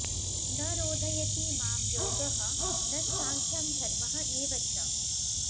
न रोधयति मां योगः न स्साङ्ख्यं धर्मः एव च